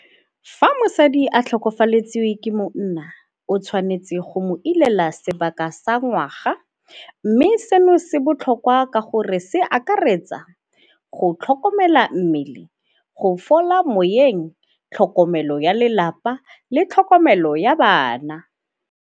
Fa mosadi a tlhokafaletswe ke monna o tshwanetse go mo ilela sebaka sa ngwaga mme seno se botlhokwa ka gore se akaretsa go tlhokomela mmele, go fola moeng, tlhokomelo ya lelapa le tlhokomelo ya bana.